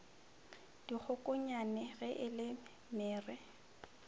dikgokonyane ge e le mere